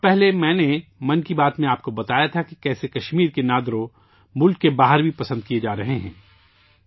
کچھ وقت پہلے میں نے آپ کو 'من کی بات' میں بتایا تھا کہ کشمیر کے 'نادرو' ملک کے باہر بھی پسند کئے جارہے ہیں